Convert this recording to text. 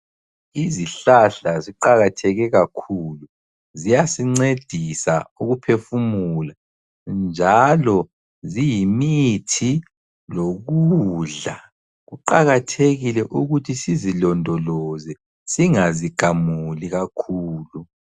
Izihlahla ziqakatheke kakhulu. Ziyasincedisa ukuphefumula, njalo ziyimithi lokudla. Kuqakathekile ukuthi sizilondoloze singazigamuli kakhulu.